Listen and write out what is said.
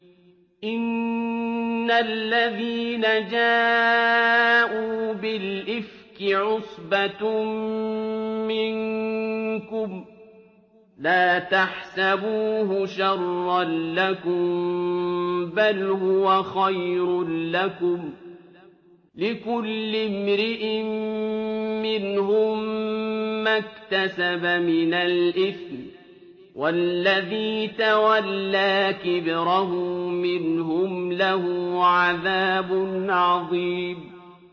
إِنَّ الَّذِينَ جَاءُوا بِالْإِفْكِ عُصْبَةٌ مِّنكُمْ ۚ لَا تَحْسَبُوهُ شَرًّا لَّكُم ۖ بَلْ هُوَ خَيْرٌ لَّكُمْ ۚ لِكُلِّ امْرِئٍ مِّنْهُم مَّا اكْتَسَبَ مِنَ الْإِثْمِ ۚ وَالَّذِي تَوَلَّىٰ كِبْرَهُ مِنْهُمْ لَهُ عَذَابٌ عَظِيمٌ